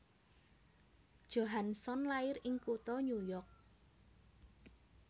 Johansson lair ing kutha New York